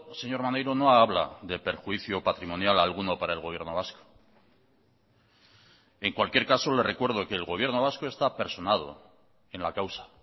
señor maneiro no habla de perjuicio patrimonial alguno para el gobierno vasco en cualquier caso le recuerdo que el gobierno vasco está personado en la causa